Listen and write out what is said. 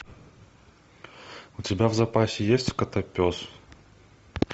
у тебя в запасе есть котопес